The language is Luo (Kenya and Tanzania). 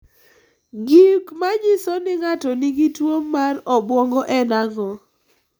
Gik manyiso ni ng'ato nigi tuwo mar tuo obwongo en ang'o?